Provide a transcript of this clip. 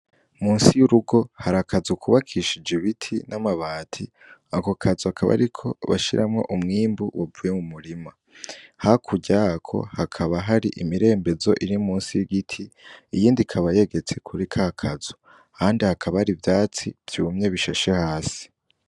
Musi y'urugo harakaza ukubakishije ibiti n'amabati ako kazo akaba, ariko bashiramwo umwimbu wavuye mu murima hakuryako hakaba hari imirembezo iri musi y'igiti iyoi ndikabayegetse kuri ka kazo handi hakaba ari ivyatsi vyumye bishashe hasi.